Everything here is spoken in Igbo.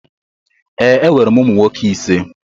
Ee, enwere m ụmụ nwoke ise.